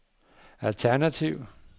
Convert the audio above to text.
alternativ